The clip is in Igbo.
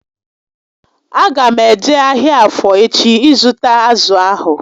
A ga m eje ahịa Afọ echi ịzụta azụ ahụ